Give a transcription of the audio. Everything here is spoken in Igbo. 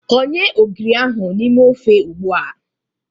Konye ogiri ahụ n'ime ofe ugbua!